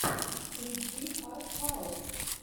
включи артхаус